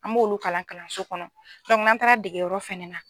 An b'olu kalan kalanso kɔnɔ n'an taara degeyɔrɔ fɛnɛ na.